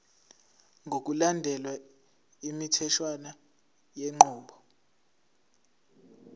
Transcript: ngokulandela imitheshwana yenqubo